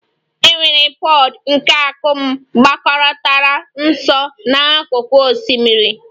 E nwere pod nke akum gbakọtara nso n'akụkụ osimiri